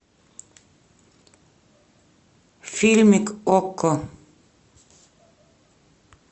фильмик окко